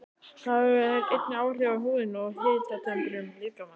Það hefur einnig áhrif á húðina og hitatemprun líkamans.